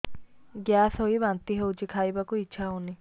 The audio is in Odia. ଗ୍ୟାସ ହୋଇ ବାନ୍ତି ହଉଛି ଖାଇବାକୁ ଇଚ୍ଛା ହଉନି